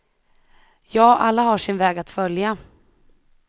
Ja, alla har sin väg att följa.